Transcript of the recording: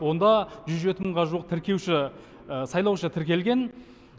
онда жүз жеті мыңға жуық тіркеуші сайлаушы тіркелген